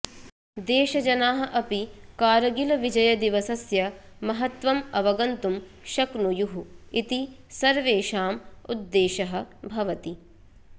देशजनाः अपि कारगिलविजयदिवसस्य महत्त्वम् अवगन्तुं शक्नुयुः इति सर्वेषाम् उद्देशः भवति